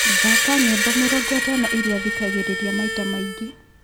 thaaka nyĩmbo mĩrongo ĩtano iria thikagĩrĩria maita maingi